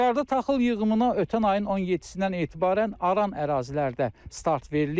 Qusarda taxıl yığımına ötən ayın 17-dən etibarən aran ərazilərdə start verilib.